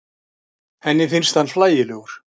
Henni finnst hann hlægilegur.